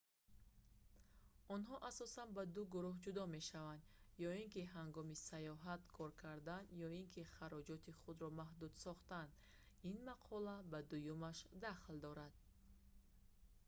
онҳо асосан ба ду гурӯҳ ҷудо мешаванд ё ки ҳангоми саёҳат кор кардан ё ин ки хароҷоти худро маҳдуд сохтан ин мақола ба дуюмаш дахл дорад